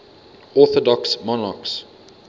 orthodox monarchs